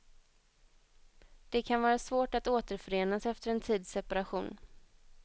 Det kan vara svårt att återförenas efter en tids separation.